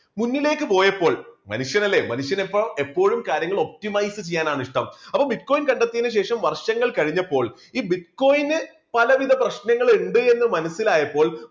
മുന്നിലേക്ക് പോയപ്പോൾ മനുഷ്യനല്ലേ മനുഷ്യൻ എപ്പോഴും എപ്പോഴും കാര്യങ്ങൾ optimise ചെയ്യാനാണ് ഇഷ്ടം. അപ്പോ bitcoin കണ്ടെത്തിയതിനു ശേഷം വർഷങ്ങൾ കഴിഞ്ഞപ്പോൾ ഈ bitcoin പലവിധ പ്രശ്നങ്ങൾ ഇണ്ട് എന്ന് മനസ്സിലായപ്പോൾ